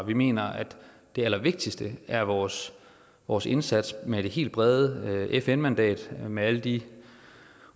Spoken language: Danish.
vi mener at det allervigtigste er vores vores indsats med det helt brede fn mandat med alle de